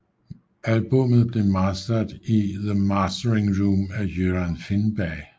Albummet blev mastered i The Mastering Room af Göran Finnberg